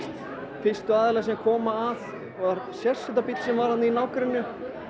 fyrstu aðilar sem koma að var sérsveitarbíll sem var þarna í nágrenninu